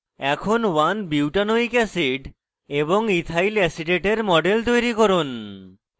এখন 1butanoic acid one butanoic acid এবং ethylacetate ethyl acetate models তৈরী করুন